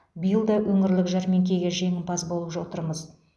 биыл да өңірлік жәрмеңкеге жеңімпаз болып отырмыз